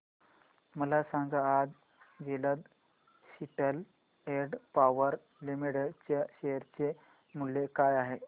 मला सांगा आज Jindal Steel and Power Limited च्या शेअर चे मूल्य काय आहे